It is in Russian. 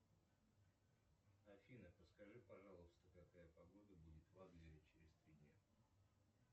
афина подскажи пожалуйста какая погода будет в адлере через три дня